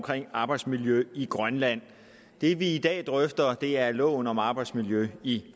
arbejdsmiljø i grønland det vi i dag drøfter er loven om arbejdsmiljø i